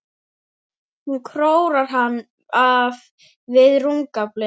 Hún króar hann af við rúmgaflinn.